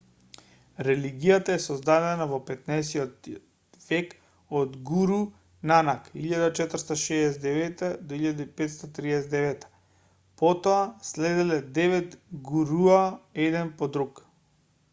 религијата е создадена во 15-тиот век од гуру нанак 1469-1539. потоа следеле девет гуруа еден по друг